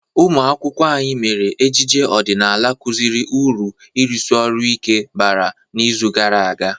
Umụ akwụkwọ anyị mere ejije ọdịnala kụziri uru ịrụsi orụ ike bara n'izu gara aga.